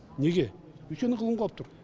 неге өйткені ғылым қалып тұр